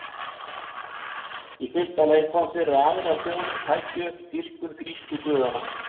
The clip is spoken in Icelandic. Í fyrsta lagi kom fyrir að aðrar þjóðir tækju upp dýrkun grísku guðanna.